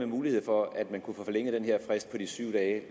muligheden for at man kan få forlænget den her frist på de syv dage